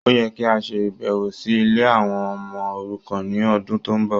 Ó yẹ kí a ṣe ìbẹ̀wò sí ilé àwọn ọmọ òrukan ní ọdún tó ń bọ̀.